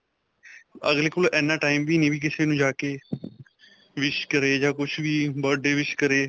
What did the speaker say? ਅਗਲੇ ਕੋਲ ਐਨਾ time ਵੀ ਨਹੀਂ ਕਿ ਕਿਸੇ ਨੂੰ ਜਾ ਕੇ wish ਕਰੇ ਜਾਂ ਕੁੱਝ ਵੀ birthday wish ਕਰੇ.